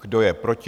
Kdo je proti?